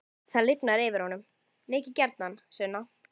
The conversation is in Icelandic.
Það lifnar yfir honum: Mikið gjarnan, Sunna.